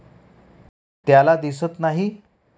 त्याला दिसत नाही.